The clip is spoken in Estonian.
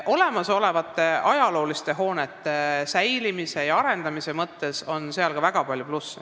Olemasolevate ajalooliste hoonete säilitamisel ja arendamisel on aga ka väga palju plusse.